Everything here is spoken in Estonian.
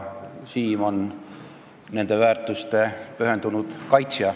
Siim on nende väärtuste pühendunud kaitsja.